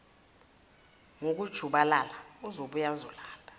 ngokujubalala uzobuya ezolanda